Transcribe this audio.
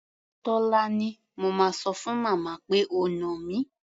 Tólání, mo máa sọ fún màmá pé o nà mí.